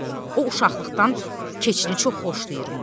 O uşaqlıqdan keçini çox xoşlayırmış.